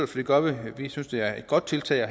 det gør vi vi synes det er et godt tiltag